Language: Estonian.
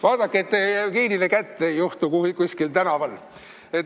Vaadake, et te Jevgenile kätte ei juhtu kuskil tänaval!